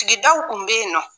Sigidaw tun bɛ yen nɔ